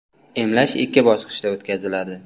Emlash ikki bosqichda o‘tkaziladi.